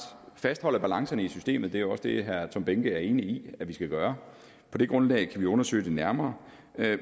fastholder balancerne i systemet det er også det herre tom behnke er enig i at vi skal gøre på det grundlag kan vi undersøge det nærmere